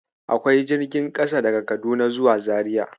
Akwai jirgin kasa daga Kaduna zuwa Abuja.